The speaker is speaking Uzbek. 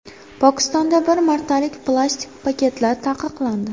Pokistonda bir martalik plastik paketlar taqiqlandi.